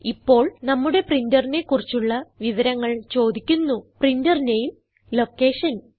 ഇപ്പോൾ നമ്മുടെ പ്രിന്ററിനെ കുറിച്ചുള്ള വിവരങ്ങൾ ചോദിക്കുന്നു പ്രിന്റർ നാമെ ലൊക്കേഷൻ